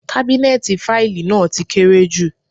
Kábínẹ́ẹ̀tì fáìlì náà ti kéré jù.